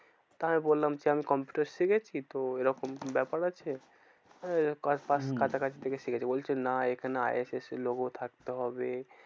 তা আমি বললাম কি আমি কম্পিউটার শিখেছি। তো এরকম ব্যাপার আছে। আহ কার পাস্ হম কাছাকাছি থেকে শিখেছি, বলছে না এখানে আই এফ এস এর logo থাকতে হবে।